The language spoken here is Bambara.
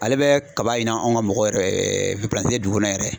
Ale bɛ kaba ɲin anw ka mɔgɔ yɛrɛ dugu kɔnɔ yɛrɛ.